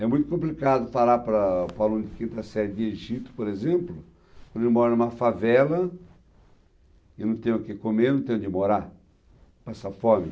É muito complicado falar para para o aluno que entra na série de Egito, por exemplo, quando ele mora em uma favela e não tem o que comer, não tem onde morar, passa fome.